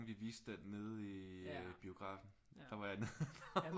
Vi viste den nede i biografen der var jeg nede